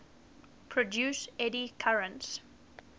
produce eddy currents